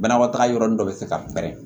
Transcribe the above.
Banakɔtaga yɔrɔnin dɔ bɛ se ka pɛrɛn